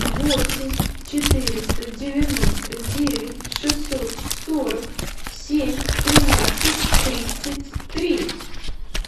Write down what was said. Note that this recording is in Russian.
восемь четыреста девяносто девять шестьсот сорок семь тринадцать тридцать три